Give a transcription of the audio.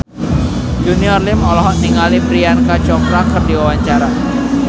Junior Liem olohok ningali Priyanka Chopra keur diwawancara